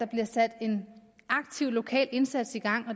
bliver sat en aktiv lokal indsats i gang og